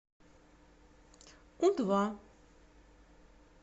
у два